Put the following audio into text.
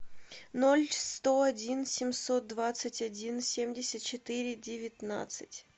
ноль сто один семьсот двадцать один семьдесят четыре девятнадцать